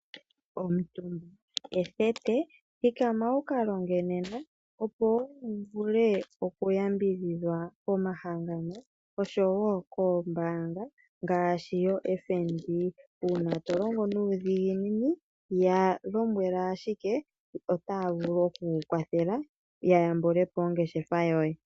Omutumba ethete, thikama wukalonge nena opo wuvule okuyambidhidhwa komahangano osho wo koombaanga ngaashi yoFNB uuna tolongo nuudhiginini yalombwela ashike opo tayavulu okukuwathela yayambule po ongeshefa yoye.